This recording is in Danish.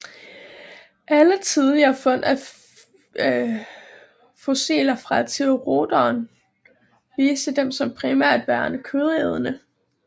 Alle tidlige fund af fossiler fra theropoder viste dem som primært værende kødædende